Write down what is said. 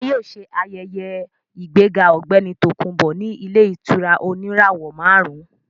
Wọ́n yóò ṣe ayẹyẹ ìgbéga ọ̀gbẹ́ni Tòkunbọ̀ ní ilé ìtura oníràwọ̀ máàrún